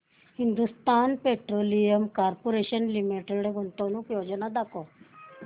Hindustan petroleum corporation limited गुंतवणूक योजना दाखव